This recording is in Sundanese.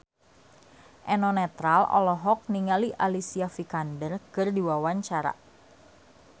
Eno Netral olohok ningali Alicia Vikander keur diwawancara